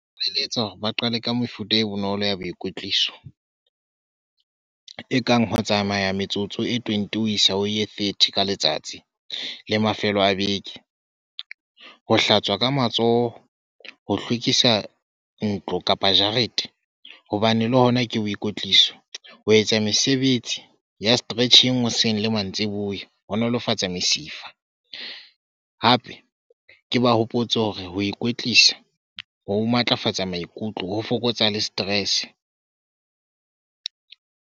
Nka eletsa hore ba qale ka mefuta e bonolo ya boikwetliso, ekang ho tsamaya metsotso e twenty ho isa ho e thirty ka letsatsi le mafelo a beke. Ho hlatswa ka matsoho, ho hlwekisa ntlo kapa jarete hobane le hona ke boikwetliso. Ho etsa mesebetsi ya stretching hoseng le mantsiboya ho nolofatsa mesifa, hape ke ba hopotse hore ho ikwetlisa ho matlafatsa maikutlo ho fokotsa le stress.